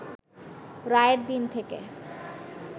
রায়ের দিন থেকে